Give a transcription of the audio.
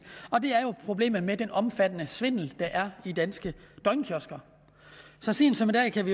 og det er jo problemet med den omfattende svindel der er i danske døgnkiosker så sent som i dag kan